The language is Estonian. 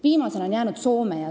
Viimaseks on jäänud Soome.